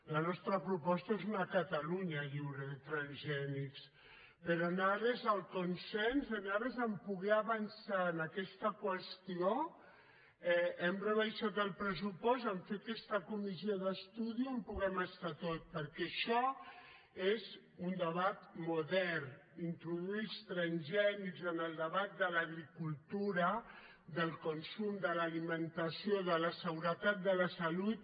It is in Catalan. la nostra proposta és una catalunya lliure de transgè·nics però en ares del consens en ares de poder avan·çar en aquesta qüestió hem rebaixat el pressupost a fer aquesta comissió d’estudi on puguem estar tots perquè això és un debat modern introduir els transgè·nics en el debat de l’agricultura del consum de l’ali·mentació de la seguretat de la salut